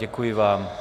Děkuji vám.